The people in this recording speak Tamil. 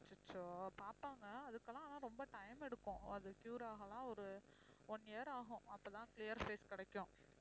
அச்சச்சோ பாப்பாங்க அதுக்கெல்லாம் ஆனா ரொம்ப time எடுக்கும் அது cure ஆகலாம் ஒரு one year ஆகும் அப்பதான் clear face கிடைக்கும்